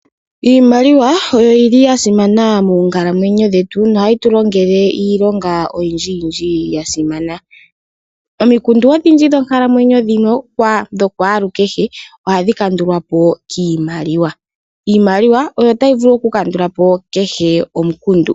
Iimaliwa oyili ya simana moonkalamwenyo dhetu nohayi tu longele iilonga oyindji yindji yasimana. Omikundu odhindji dhonkalamwenyo dha kwalu kehe ohadhi kandulwapo kiimaliwa . Iimaliwa oyo tayi vulu oku kandulapo kehe omukundu.